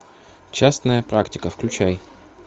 частная практика включай